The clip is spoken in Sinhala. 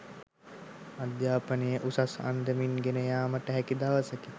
අධ්‍යාපනය උසස් අන්දමින් ගෙන යාමට හැකි දවසකි